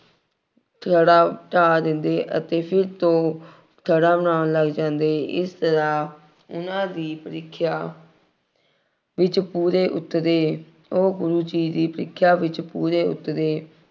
ਥੜ੍ਹਾ ਢਾਅ ਦਿੰਦੇ ਅਤੇ ਫਿਰ ਤੋਂ ਥੜ੍ਹਾ ਬਣਾਉਣ ਲੱਗ ਜਾਂਦੇ। ਇਸ ਤਰ੍ਹਾਂ ਉਹਨਾ ਦੀ ਪ੍ਰੀਖਿਆ ਵਿੱਚ ਪੂਰੇ ਉੱਤਰੇ। ਉਹ ਗੁਰੂ ਜੀ ਦੀ ਪ੍ਰੀਖਿਆ ਵਿੱਚ ਪੂਰੇ ਉੱਤਰੇ।